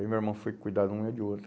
Aí meu irmão foi cuidar de uma e de outra.